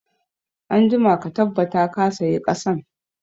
Anjima ka tabbata ka sayi ƙasan